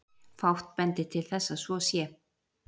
Fátt bendir til þess að svo sé.